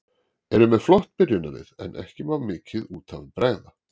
Eru með flott byrjunarlið en ekki má mikið út af bregða.